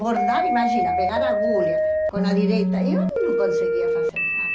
bordado, imagina, pegar a agulha com a direita, eu não conseguia fazer nada.